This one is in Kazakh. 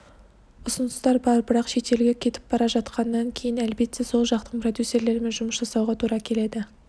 ұсыныстар бар бірақ шетелге кетіп бара жатқаннан кейін әлбетте сол жақтың продюсерлерімен жұмыс жасауға тура келеді